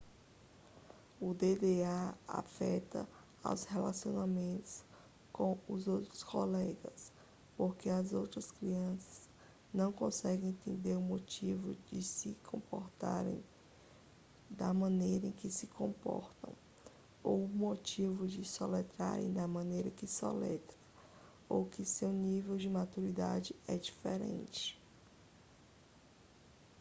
o dda afeta os relacionamentos com os outros colegas porque as outras crianças não conseguem entender o motivo de se comportarem da maneira que se comportam ou o motivo de soletrarem da maneira que soletram ou que o seu nível de maturidade é diferente